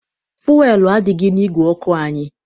Fuelu adịghị n'ìgwè ọkụ anyị.